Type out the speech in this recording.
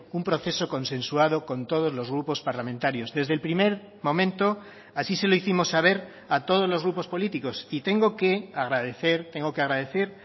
un proceso consensuado con todos los grupos parlamentarios desde el primer momento así se lo hicimos saber a todos los grupos políticos y tengo que agradecer tengo que agradecer